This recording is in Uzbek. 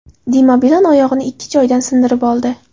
Dima Bilan oyog‘ini ikki joyidan sindirib oldi.